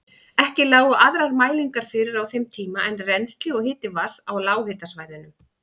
Ekki lágu aðrar mælingar fyrir á þeim tíma en rennsli og hiti vatns á lághitasvæðunum.